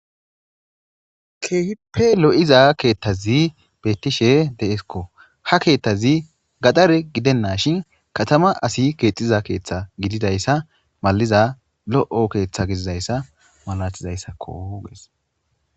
keehippe lo7iza keettazi bettishe deeskko ha keettazi gadare gidenna shin katama asi keexxiza keeththa gididayssa maliza lo7o keeththa gizizayssa malatizayssakkogees